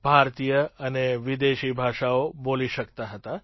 ભારતીય અને વિદેશી ભાષાઓ બોલી શકતા હતા